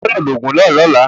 Ogbọ́dọ̀ lò òògùn náà ní ọ̀la